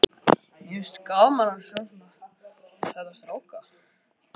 """Nei, sagði hann."""